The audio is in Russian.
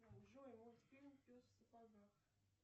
джой мультфильм пес в сапогах